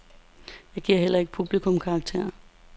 Jeg giver heller ikke publikum karakter.